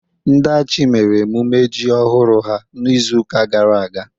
ndi achi mere emume ji ohuru ha n'izu uka gara aga